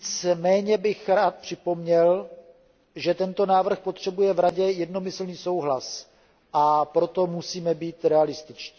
Nicméně bych rád připomněl, že tento návrh potřebuje v Radě jednomyslný souhlas, a proto musíme být realističtí.